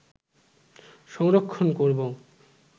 সংরক্ষণ করব